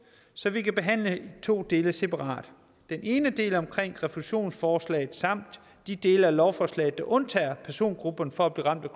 så vi kan behandle de to dele separat den ene del er omkring refusionsforslag samt de dele af lovforslaget der undtager persongruppen for at blive ramt